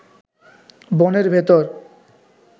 বনের ভেতর